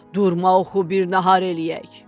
Durma oxu bir nahar eləyək.